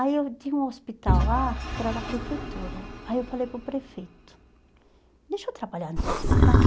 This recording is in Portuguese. Aí eu tinha um hospital lá, que era da prefeitura, aí eu falei para o prefeito, deixa eu trabalhar no seu hospital?